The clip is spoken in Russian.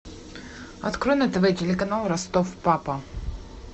открой на тв телеканал ростов папа